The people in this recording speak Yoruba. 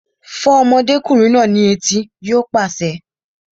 Fọ́ ọmọdékùnrin náà ní etí! Yóò pàṣẹ